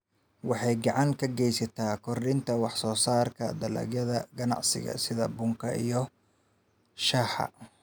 Waxay gacan ka geysataa kordhinta wax soo saarka dalagyada ganacsiga sida bunka iyo shaaha.